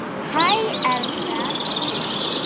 Hæ, elskan.